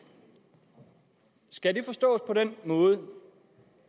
skal det forstås på den måde